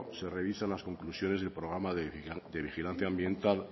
se revisan las conclusiones del programa de vigilancia ambiental